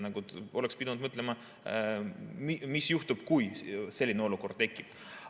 Oleks pidanud mõtlema, mis juhtub, kui selline olukord tekib.